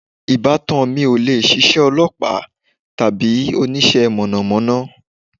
Ìbátan mi ò lè ṣíṣe olọ́pàá tàbí oníṣẹ́ mọ̀nàmọ́ná.